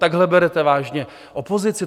Takhle berete vážně opozici?